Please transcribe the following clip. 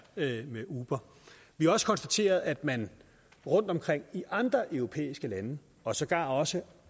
ved ved uber vi har også konstateret at man rundtomkring i andre europæiske lande og sågar også i